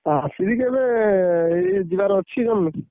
ଆସିବି କେବେ ଏଇ ଯିବାର ଅଛି ଜାଣିଲୁ।